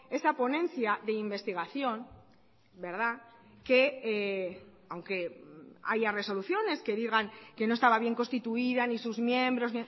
esa ponencia de investigación verdad que aunque haya resoluciones que digan que no estaba bien constituida ni sus miembros